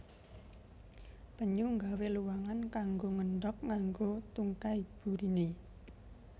Penyu nggawé luwangan kanggo ngendhog nganggo tungkai buriné